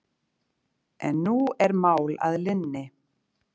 En nú er mál að linni